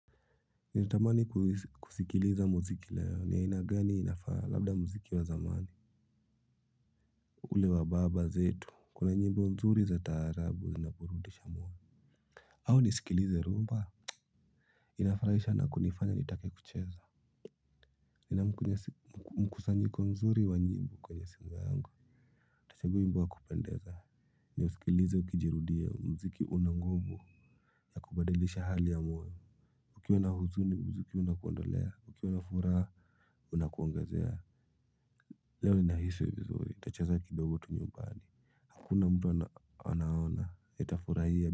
Ninatamani kusikiliza muziki layo ni ya aina gani inafaa labda muziki wa zamani. Ule wa baba zetu kuna nyimbo nzuri za taarabu inaporudisha moyo. Au nisikilize rumba. Inafurahisha na kunifanya nitake kucheza. Nina mkusanyiko mzuri wa nyimbo kwenye simu yangu. Tachagua wimbo wa kupendeza. Ni usikilize ukijirudia mziki una nguvu la kubadilisha hali ya mwoyo ukiwa na huzuni muziki unakuondolea, ukiwana furaha unakuongezea leo nina hisi vizuri nitachaza kidogo tunye ubali hakuna mtu anaona nitafurahia.